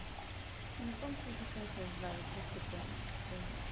E como que você se sentiu de dar esse depoimento para gente?